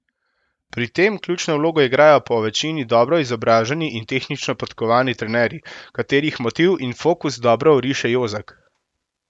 Pri tem ključno vlogo igrajo povečini dobro izobraženi in tehnično podkovani trenerji, katerih motiv in fokus dobro oriše Jozak.